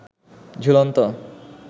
ঝুলন্ত